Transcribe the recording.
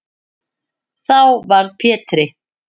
Þá varð Pétri